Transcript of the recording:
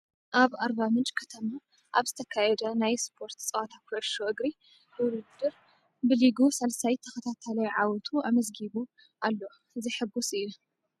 ኣብ ኣርባ ምንጭ ከተማ ኣብ ዝተከየደ ናይ ስፖርት ፀወታ ኩዕሾ እግሪ ውድድር ብሊጉ ሳልሳይ ተከታታላይ ዓወቱ ኣመዝጊቡ ኣሎ ዘሐጉስ እዩ።